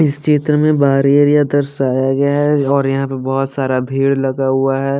इस चित्र में बाहरी एरिया दर्शाया गया है और यहां पे बहोत सारा भीड़ लगा हुआ है।